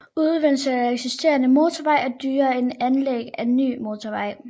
Udvidelse af eksisterende motorvej er dyrere end anlæg af ny motorvej